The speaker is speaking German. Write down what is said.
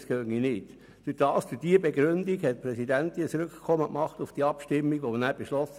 Damit stellte sie zum vorangehenden Beschluss einen Rückkommensantrag, worauf man beschloss: